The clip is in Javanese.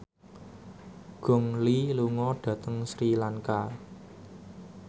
Gong Li lunga dhateng Sri Lanka